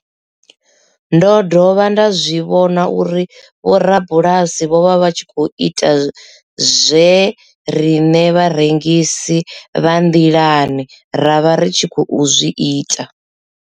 Ndo dovha nda zwi vhona uri vhorabulasi vho vha vha tshi khou ita zwe riṋe vharengisi vha nḓilani ra vha ri tshi khou zwi ita.